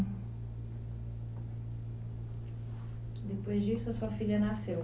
Depois disso a sua filha nasceu?